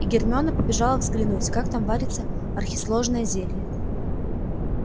и гермиона побежала взглянуть как там варится архисложное зелье